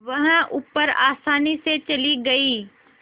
वह ऊपर आसानी से चली गई